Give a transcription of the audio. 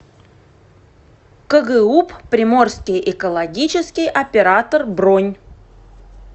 кгуп приморский экологический оператор бронь